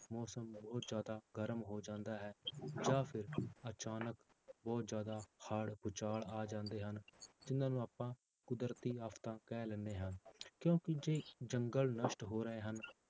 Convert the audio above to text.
ਮੌਸਮ ਬਹੁਤ ਜ਼ਿਆਦਾ ਗਰਮ ਹੋ ਜਾਂਦਾ ਹੈ ਜਾਂ ਫਿਰ ਅਚਾਨਕ ਬਹੁਤ ਜ਼ਿਆਦਾ ਹੜ੍ਹ, ਭੂਚਾਲ ਆ ਜਾਂਦੇ ਹਨ, ਜਿੰਨਾਂ ਨੂੰ ਆਪਾਂ ਕੁਦਰਤੀ ਆਫ਼ਤਾਂ ਕਹਿ ਲੈਂਦੇ ਹਾਂ ਕਿਉਂਕਿ ਜੇ ਜੰਗਲ ਨਸ਼ਟ ਹੋ ਰਹੇ ਹਨ